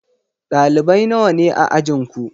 Ɗalibai nawa ne a ajinku?